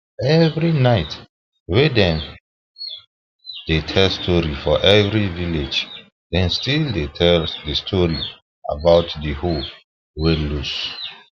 every night wen dem wen dem dey tell story for every village dem still de tell de story about de hoe wey lose